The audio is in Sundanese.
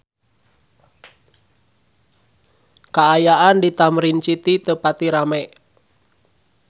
Kaayaan di Tamrin City teu pati rame